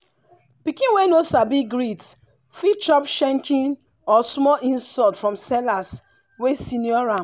pikin wey no sabi greet fit chop shenkin or small insult from sellers wey senior am.